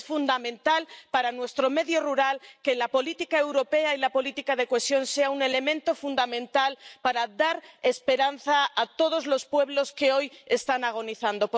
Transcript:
Es fundamental para nuestro medio rural que la política europea y la política de cohesión sean un elemento fundamental para dar esperanza a todos los pueblos que hoy están agonizando.